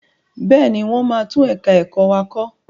Bẹ́ẹ̀ni, wọ́n máa tún ẹ̀ka ẹ̀kọ́ wa kọ.